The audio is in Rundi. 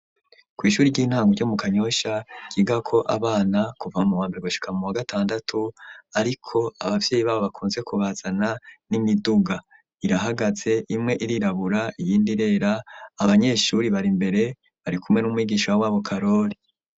Kw'ishuri ry'intango ryo mu kanyoshya kiga ko abana kuva mu wambere gushaka mu wa gatandatu ariko abavyeyi babo bakunze kubazana n'imiduga irahagaze imwe irirabura iyindi rera abanyeshuri bari mbere bari kumwe n'umwigisha w'abo karori.